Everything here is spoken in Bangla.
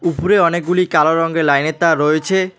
উপরে অনেকগুলি কালো রঙের লাইন এর তার রয়েছে।